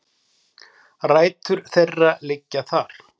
Rætur þeirra liggja þar